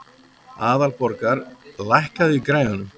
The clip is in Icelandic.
Aðalborgar, lækkaðu í græjunum.